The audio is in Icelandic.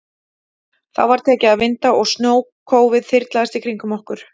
Þá var tekið að vinda og snjókófið þyrlaðist í kringum okkur.